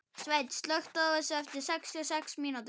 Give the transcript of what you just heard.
Sveinn, slökktu á þessu eftir sextíu og sex mínútur.